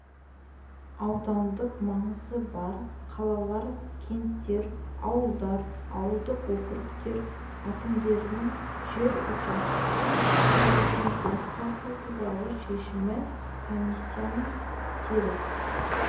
аудандық маңызы бар қалалар кенттер ауылдар ауылдық округтер әкімдерінің жер учаскесін беруден бас тарту туралы шешімі комиссияның теріс